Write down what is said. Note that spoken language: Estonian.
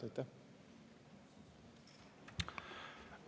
Aitäh!